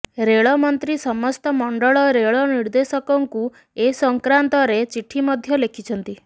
ରେଳ ମନ୍ତ୍ରୀ ସମସ୍ତ ମଣ୍ଡଳ ରେଳ ନିର୍ଦ୍ଦେଶକଙ୍କୁ ଏସଂକ୍ରାନ୍ତରେ ଚିଠି ମଧ୍ୟ ଲେଖିଛନ୍ତି